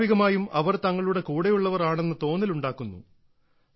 സ്വാഭാവികമായും അവർ തങ്ങളുടെ കൂടെയുള്ളവർ ആണെന്ന തോന്നലുണ്ടാകുന്നു